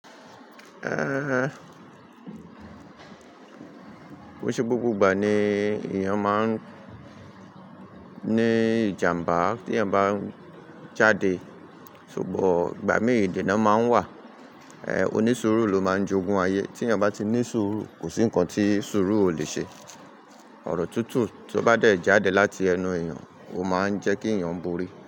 Ehn, kò ń ṣe gbogbo ìgbà ni èyàn má ń ní ìjàmbá tí eyan bá ń jáde, ṣùgbọ́n ìgbà mi èdè náà má ń wa. Eh, onisuru ló má ń jogún ayé, tí eyan bá ti ní suru, kò sí ǹkan tí suru ò lè ṣe. Ọ̀rọ̀ tutù tó bá dé jáde láti ẹnu èyàn, ó má ń jẹ́ kí èyàn borí.